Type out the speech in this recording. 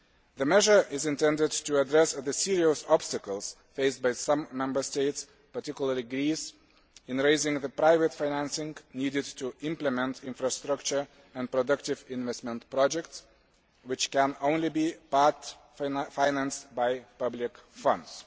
The measure is intended to address the serious obstacles faced by some Member States, particularly Greece, in raising the private financing needed to implement infrastructure and productive investment projects, which can only be part financed by public funds.